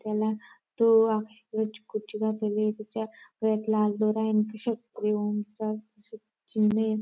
त्याला तो आकाशी कलरची कुर्ती घातलेली आहे. त्याच्या गळ्यात लाल दोरा आहे. आणि खिशात ओम चा चिन्ह आहे.